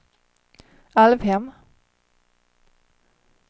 Alvhem